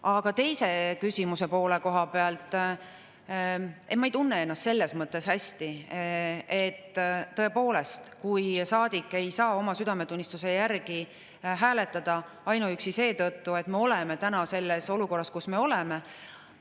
Aga küsimuse teise poole kohta: ei, ma ei tunne ennast hästi, kui tõepoolest, saadik ei oma südametunnistuse järgi hääletada ainuüksi seetõttu, et me oleme täna selles olukorras, kus me oleme.